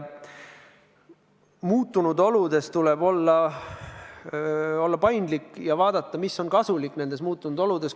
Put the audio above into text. Muutunud oludes tuleb olla paindlik ja vaadata, mis on kasulik nendes muutunud oludes.